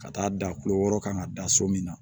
Ka taa da kulo wɔɔrɔ kan ka da so min na